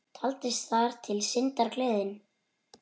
Taldist þar til syndar, gleðin.